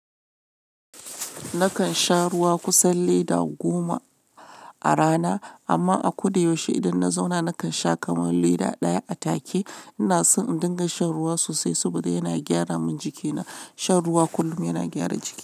Nakan sha ruwa kusan lita goma a rana, amma a ko da yaushe idan na zauna nakan sha kamar leda ɗaya a take. Ina son in dinga shan ruwa sosai saboda yana gyara min jikina. Shan ruwa kullum yana gyara jiki.